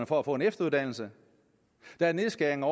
for at få en efteruddannelse der er nedskæringer